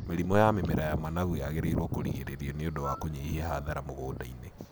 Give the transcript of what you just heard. Mĩrimũ ya mĩmera ya managu yagĩrĩirwo kũrigĩrĩrio nĩ ũndũ wa kũnyihia hathara mũgũnda-ini.